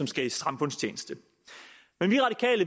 skal i samfundstjeneste men